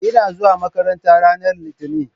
Ina zuwa makaranta ranar Litinin